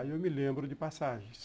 Aí eu me lembro de passagens.